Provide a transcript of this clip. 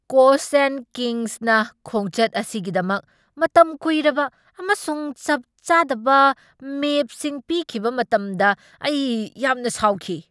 ꯀꯣꯛꯁ ꯑꯦꯟ ꯀꯤꯡꯁꯅ ꯈꯣꯡꯆꯠ ꯑꯁꯤꯒꯤꯗꯃꯛ ꯃꯇꯝ ꯀꯨꯏꯔꯕ ꯑꯃꯁꯨꯡ ꯆꯞ ꯆꯥꯗꯕ ꯃꯦꯞꯁꯤꯡ ꯄꯤꯈꯤꯕ ꯃꯇꯝꯗ ꯑꯩ ꯌꯥꯝꯅ ꯁꯥꯎꯈꯤ ꯫